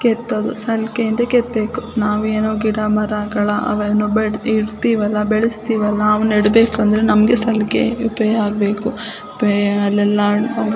ಕೇಥ್ಹೋದು ಸಲಾಕೆ ಇಂದ ಕೇಥ್ಬೇಕು ನಾವೇನು ಗಿಡ ಮರ ಅವೇನು ಬೆಳ್ದ್ ಇರ್ತೀವಲ್ಲ ಬೆಳೆಸ್ತಿವಲ್ಲ ಅವ್ ನಡಬೇಕು ಅಂತ ಅಂದ್ರೆ ನಮಗೆ ಸಲ್ಕೆ ಎಲ್ಲ ಆಗ್ಬೇಕು ಬಿ ಅಲ್ಲೆಲ್ಲ --